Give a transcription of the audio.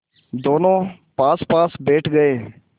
दोेनों पासपास बैठ गए